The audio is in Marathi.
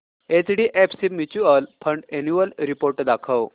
HDFC mutual fund annual report दाखव